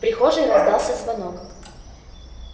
в прихожей раздался звонок